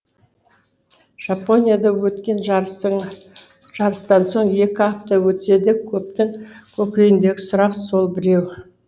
жапонияда өткен жарыстан соң екі апта өтсе де көптің көкейіндегі сұрақ сол біреу